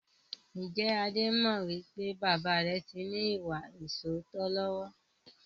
Ǹjẹ́ Adé mọ wípé baba rẹ tí ní ìwà ìsootọ́ lọ́wọ́?